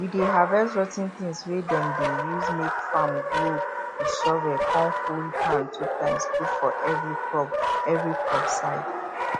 we dey harvest rot ten tins wey dem dey use make farm grow with shovel con full hand 2times put for every crop every crop side